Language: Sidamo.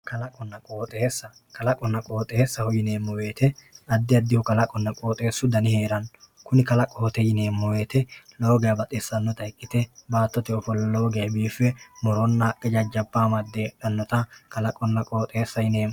Kalaqonna qooxxeesa ,kalaqonna qooxxeessaho yineemmo woyte addi addihu kalaqonna qooxxeesu dani heerano kuni kalaqote yineemmo woyte lowo geeshsha baxisanotta ikkite baattote ofolla lowo geeshsha biife muronna haqqe jajjabba amade heedhanotta kalaqonna qooxxeessa yineemmo.